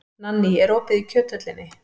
Nanný, er opið í Kjöthöllinni?